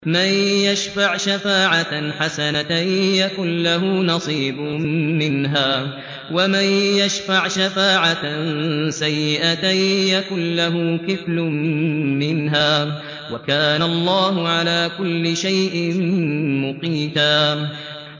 مَّن يَشْفَعْ شَفَاعَةً حَسَنَةً يَكُن لَّهُ نَصِيبٌ مِّنْهَا ۖ وَمَن يَشْفَعْ شَفَاعَةً سَيِّئَةً يَكُن لَّهُ كِفْلٌ مِّنْهَا ۗ وَكَانَ اللَّهُ عَلَىٰ كُلِّ شَيْءٍ مُّقِيتًا